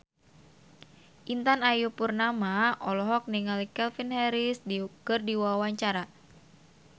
Intan Ayu Purnama olohok ningali Calvin Harris keur diwawancara